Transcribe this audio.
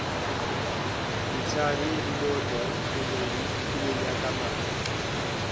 yithala lilodwa kulonyakamali